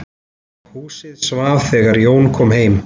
Húsið svaf þegar Jón kom heim.